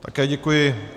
Také děkuji.